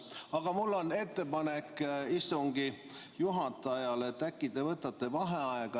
Aga mul on istungi juhatajale ettepanek, et äkki te võtate vaheaja.